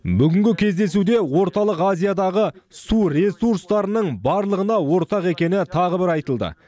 бүгінгі кездесуде орталық азиядағы су ресурстарының барлығына ортақ екені тағы бір айтылды